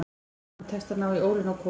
Honum tekst að ná í ólina á Kol.